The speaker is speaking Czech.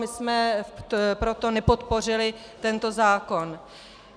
My jsme proto nepodpořili tento zákon.